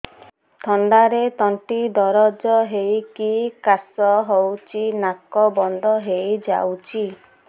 ଥଣ୍ଡାରେ ତଣ୍ଟି ଦରଜ ହେଇକି କାଶ ହଉଚି ନାକ ବନ୍ଦ ହୋଇଯାଉଛି